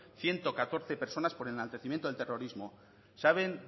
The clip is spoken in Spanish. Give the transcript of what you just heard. ciento catorce personas por enaltecimiento del terrorismo saben